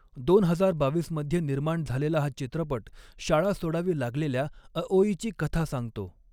दोन हजार बावीस मध्ये निर्माण झालेला हा चित्रपट शाळा सोडावी लागलेल्या अओईची कथा सांगतो.